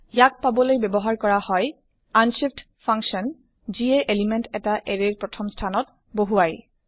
ইয়াক পাবলৈ ব্যৱহাৰ কৰা হয়160 আনশিফ্ট ফাংচন যিয়ে এলিমেন্ট এটা এৰে ৰ প্ৰথম স্থানত বহুৱাই